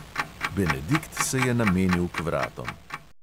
Benedikt se je namenil k vratom.